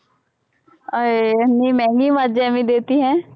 ਆਏ ਐਨੀ ਮਹਿੰਗੀ ਮੱਝ ਐਂਵੀਂ ਦੇ ਦਿੱਤੀ ਹੈਂ